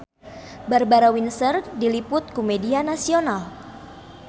Barbara Windsor diliput ku media nasional